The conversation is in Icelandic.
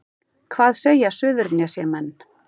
Hvað segja Suðurnesjamenn